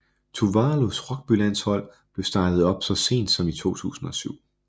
Tuvalus rugbylandshold blev startet op så sent som i 2007